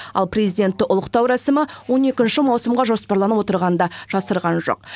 ал президентті ұлықтау рәсімі он екінші маусымға жоспарланып отрығанын да жасырған жоқ